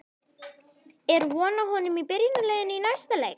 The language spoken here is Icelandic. Er von á honum í byrjunarliðinu í næsta leik?